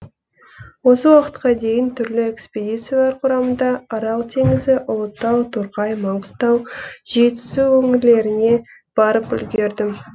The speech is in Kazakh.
осы уақытқа дейін түрлі экспедициялар құрамында арал теңізі ұлытау торғай маңғыстау жетісу өңірлеріне барып үлгердім